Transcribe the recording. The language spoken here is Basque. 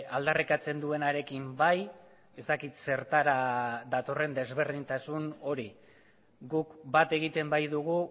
aldarrikatzen duenarekin bai ez dakit zertara datorren desberdintasun hori guk bat egiten baitugu